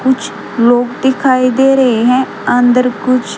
कुछ लोग दिखाई दे रहे हैं अंदर कुछ--